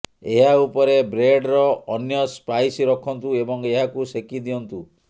ଏହା ଉପରେ ବ୍ରେଡର ଅନ୍ୟ ସ୍ଲାଇସ୍ ରଖନ୍ତୁ ଏବଂ ଏହାକୁ ସେକି ଦିଅନ୍ତୁ